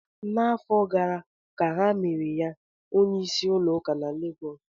N'afọ gara ka ha mere ya onye isi ndị ụka na Lagos